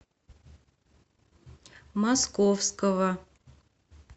московского